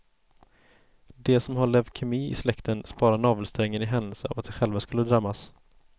De som har leukemi i släkten sparar navelsträngen i händelse av att de själva skulle drabbas.